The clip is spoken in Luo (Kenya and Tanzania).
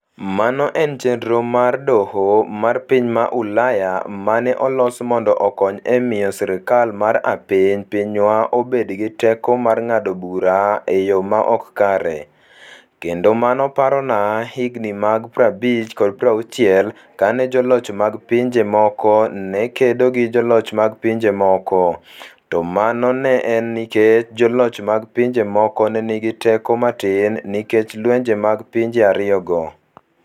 Mano en chenro mar Doho mar piny ma Ulaya ma ne olos mondo okony e miyo sirkal mar apiny pinywa obed gi teko mar ng'ado bura e yo ma ok kare, kendo mano parona higini mag 50 kod 60 kane joloch mag pinje moko ne kedo gi joloch mag pinje moko, to mano ne en nikech joloch mag pinje moko ne nigi teko matin nikech lwenje mag pinje ariyogo.